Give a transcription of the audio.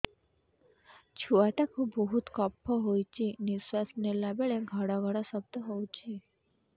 ଛୁଆ ଟା କୁ ବହୁତ କଫ ହୋଇଛି ନିଶ୍ୱାସ ନେଲା ବେଳେ ଘଡ ଘଡ ଶବ୍ଦ ହଉଛି